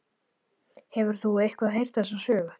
Hefur þú eitthvað heyrt þessa sögu?